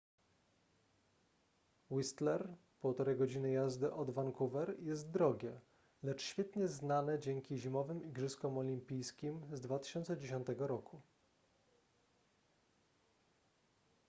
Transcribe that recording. whistler 1,5 godziny jazdy od vancouver jest drogie lecz świetnie znane dzięki zimowym igrzyskom olimpijskim z 2010 roku